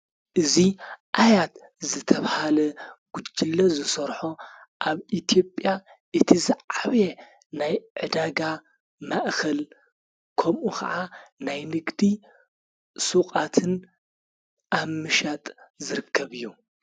እዙይ ኣያት ዘተብሃለ ጕጅለ ዝሠርሖ ኣብ ኢቲጵያ እቲ ዝዓብየ ናይ ዕዳጋ ማእኽል ከምኡ ኸዓ ናይ ንግዲ ሡዉቓትን ኣብ ምሻጥ ዝርከብ እዩ።